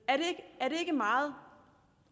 ikke meget